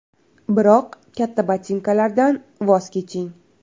Biroq katta botinkalardan voz keching.